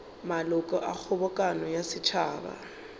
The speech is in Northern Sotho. maloko a kgobokano ya setšhaba